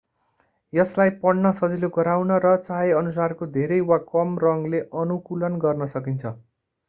यसलाई पढ्न सजिलो गराउन र चाहेअनुसारको धेरै वा कम रङले अनुकूलन गर्न सकिन्छ